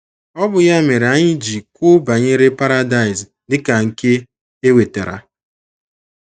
Ọ bụ ya mere anyị iji kwuo banyere Paradaịs dị ka nke e wetara.